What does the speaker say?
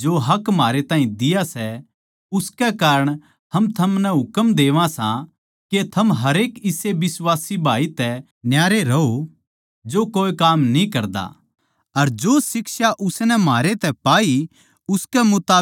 जो हक म्हारे ताहीं दिया सै उसके कारण हम थमनै हुक्म देवां सां के थम हरेक इसे बिश्वासी भाई तै न्यारे रहो जो कोए काम न्ही करदा अर जो शिक्षा उसनै म्हारै तै पाई उसकै मुताबिक न्ही करदा